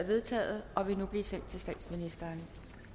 vedtaget og vil nu blive sendt til statsministeren